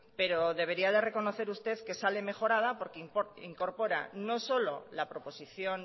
pero debería de reconocer usted que sale mejorada porque incorpora no solo la proposición